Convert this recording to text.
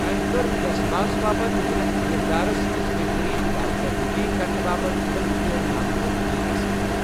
أمھ کٔر یس باس باپتھ وِلَن کِردارَس منٛز بہتٔریٖن کارکردٕگی کرنہٕ باپتھ فلم فیئر نامزدگی حٲصِل۔